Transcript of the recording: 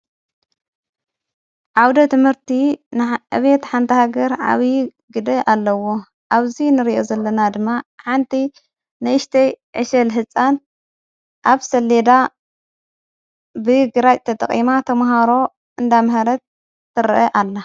ዓውደ ትምህርቲ ንዕቤት ሓንታሃገር ዓብዪ ግድ ኣለዎ ኣብዙይ ንርእዮ ዘለና ድማ ሓንቲ ነእሽተይ ዕሸል ሕፃን ኣብ ሰሌዳ ብ ግራዕተ ተጠቐማ ተምሃሮ እንዳምህረት ትርአ ኣላ።